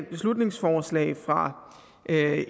beslutningsforslag fra